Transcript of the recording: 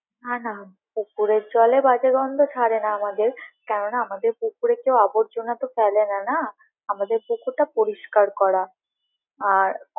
না না পুকুরের জলে বাজে গন্ধ ছাড়ে না আমাদের কেননা আমাদের পুকুরে তো কেউ আবর্জনা ফেলে না, না আমাদের পুকুরটা পরিষ্কার করা।